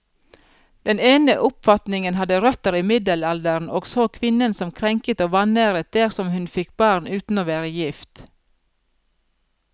Den ene oppfatningen hadde røtter i middelalderen, og så kvinnen som krenket og vanæret dersom hun fikk barn uten å være gift.